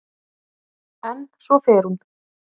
En svo fer hún.